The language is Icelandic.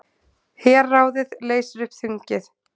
Herráðið leysir upp þingið